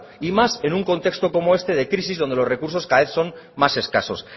y más en un contexto como este de crisis cuando los recursos cada vez son más escasos